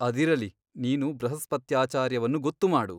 ಅದಿರಲಿ ನೀನು ಬೃಹಸ್ಪತ್ಯಾಚಾರ್ಯವನ್ನು ಗೊತ್ತು ಮಾಡು.